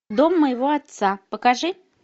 дом моего отца покажи